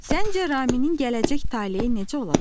Səncə Raminin gələcək taleyi necə olacaq?